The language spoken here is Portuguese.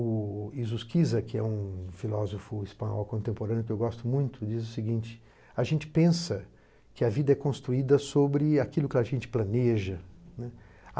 O Isusquiza, que é um filósofo espanhol contemporâneo que eu gosto muito, diz o seguinte, a gente pensa que a vida é construída sobre aquilo que a gente planeja, né.